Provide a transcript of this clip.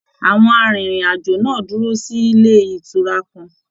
Àwọn arinrin-ajo náà dúró sílé ìtura kàn.